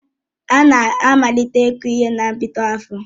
Ana amalite iku ihe na mbido afọ